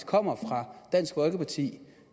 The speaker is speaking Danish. kommer fra dansk folkeparti